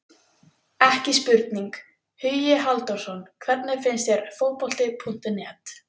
Ekki spurning, Hugi Halldórsson Hvernig finnst þér Fótbolti.net?